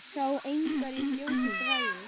Sá engar í fljótu bragði.